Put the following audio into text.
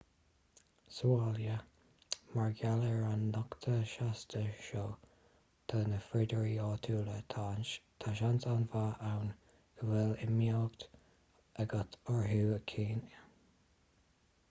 sa bhaile mar gheall ar an nochtadh seasta seo do na frídíní áitiúla tá seans an-mhaith ann go bhfuil imdhíonacht agat orthu cheana